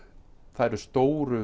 það eru stóru